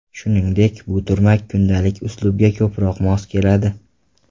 Shuningdek, bu turmak kundalik uslubga ko‘proq mos keladi.